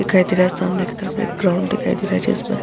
दिखाई दे रहा है सामने के तरफ़ एक ग्राउंड दिखाई दे रहा है। जिसमें --